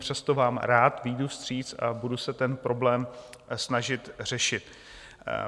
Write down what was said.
Přesto vám rád vyjdu vstříc a budu se ten problém snažit řešit.